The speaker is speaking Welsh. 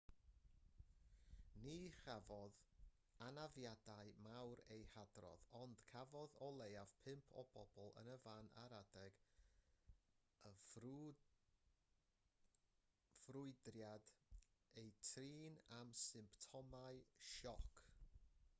ni chafodd anafiadau mawr eu hadrodd ond cafodd o leiaf pump o bobl yn y fan ar adeg y ffrwydriad eu trin am symptomau sioc